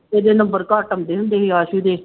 ਇਹਦੇ number ਘੱਟ ਆਉਂਦੇ ਹੁੰਦੇ ਸੀ ਆਸੂ ਦੇ।